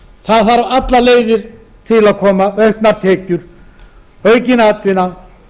allar leiðir þurfa til að koma auknar tekjur aukin atvinna